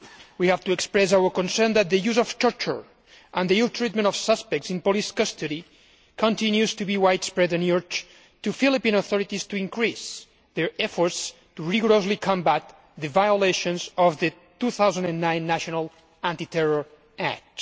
We have to express our concern that the use of torture and the ill treatment of suspects in police custody continues to be widespread. We urge the Philippine authorities to increase their efforts to rigorously combat the violations of the 2009 National Anti Terror Act.